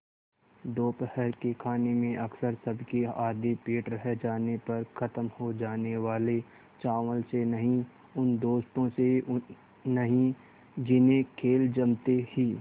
दोपहर के खाने में अक्सर सबके आधे पेट रह जाने पर ख़त्म हो जाने वाले चावल से नहीं उन दोस्तों से नहीं जिन्हें खेल जमते ही